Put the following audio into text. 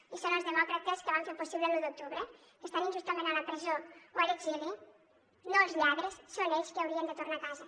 i són els demòcrates que van fer possible l’u d’octubre que estan injustament a la presó o a l’exili no els lladres són ells qui haurien de tornar a casa